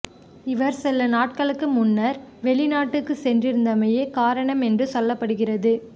இவர் சில நாட்களுக்கு முன்னர் வெளிநாட்டுக்கு சென்றிருந்தமையே காரணம் என்று சொல்லப்படுகிறது